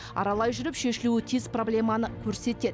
аралай жүріп шешілуі тиіс проблеманы көрсетеді